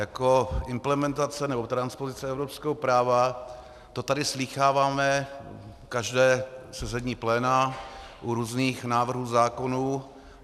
Jako implementace nebo transpozice evropského práva, to tady slýcháváme každé sezení pléna u různých návrhů zákonů.